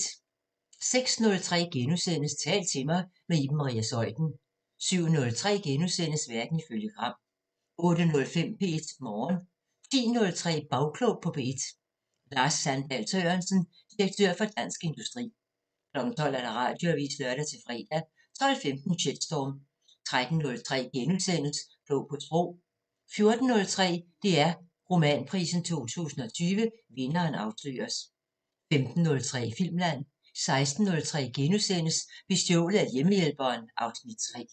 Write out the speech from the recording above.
06:03: Tal til mig – med Iben Maria Zeuthen * 07:03: Verden ifølge Gram * 08:05: P1 Morgen 10:03: Bagklog på P1: Lars Sandahl Sørensen, direktør Dansk Industri 12:00: Radioavisen (lør-fre) 12:15: Shitstorm 13:03: Klog på Sprog * 14:03: DR Romanprisen 2020 – vinderen afsløres 15:03: Filmland 16:03: Bestjålet af hjemmehjælperen (Afs. 3)*